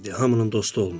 Hamının dostu olmur.